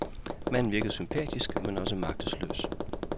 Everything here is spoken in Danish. Manden virkede sympatisk, men også magtesløs.